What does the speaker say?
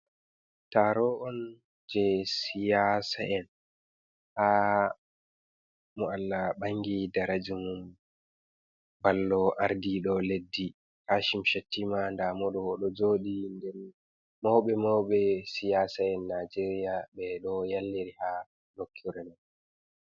Taaro on jey siyasa'en ha mo Allah bangi daraja mum ballo ardiiɗo leddi Kashim Shetiima, ndaa mo ɗo'o o ɗo jooɗi nder mauɓe maube siyasa'en naijeria be do yalliri ha lokkure man.